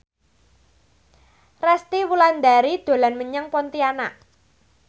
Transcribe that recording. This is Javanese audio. Resty Wulandari dolan menyang Pontianak